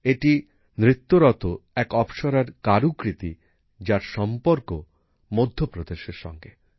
এটি নৃত্যরত এক অপ্সরার কারুকৃতি যার সম্পর্ক মধ্যপ্রদেশের সঙ্গে